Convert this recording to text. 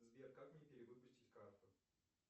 сбер как мне перевыпустить карту